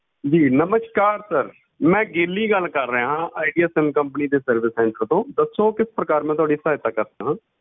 ਜੀ ਨਮਸਕਾਰ sir ਮੈਂ ਗੇਲੀ ਗੱਲ ਕਰ ਰਿਹਾ ਹਾਂ ਆਈਡੀਆ sim company ਦੇ service center ਤੋਂ, ਦੱਸੋ ਕਿਸ ਪ੍ਰਕਾਰ ਮੈਂ ਤੁਹਾਡੀ ਸਹਾਇਤਾ ਕਰ ਸਕਦਾ ਹਾਂ?